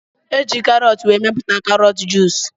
Eji karọt were mepụta karọt juus